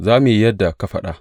Za mu yi yadda ka faɗa.